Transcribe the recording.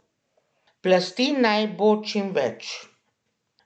Plasti naj bo čim več.